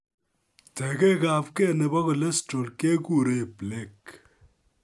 Tegek abgei nebo cholesterol keguren plaque